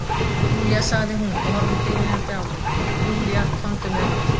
Júlía sagði hún og horfði biðjandi á mig, Júlía komdu með mér.